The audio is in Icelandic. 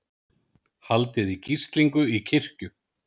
Haldið í gíslingu í kirkju